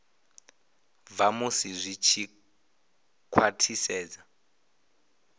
bva musi zwi tshi khwathisedzwa